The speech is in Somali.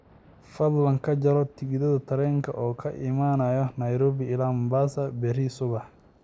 fadlan ka jarto tigidh tareen oo ka imanaya nairobi ilaa mombasa berri subax